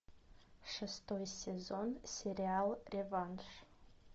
шестой сезон сериал реванш